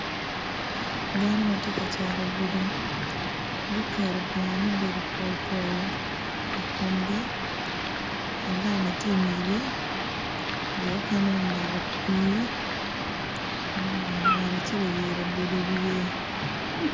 Dano ma tye ka cito i gudi guketo bongo mubedo polpol i komgi alama tye i ngegi jo okene omako pii ngat acel oyeyo labolo i wiye